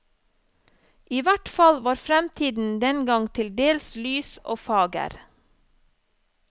I hvert fall var fremtiden dengang til dels lys og fager.